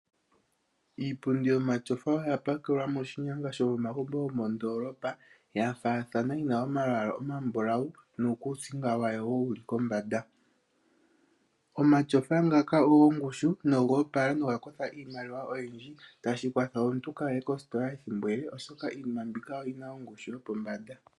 Iipundi yomatyofa oya pakelwa moshinyanga shomogumbo gwomondolopa yafathana yina omalwala omambulawu nuukusinga wawo wuli kombanda. Omatyofa ngaka ogo ngushu nogoopala noga kosha iimaliwa oyiindji tashi kwatha omuntu kaye kositola olundji oshoka iinima mbika oyina ongushu yopombanda.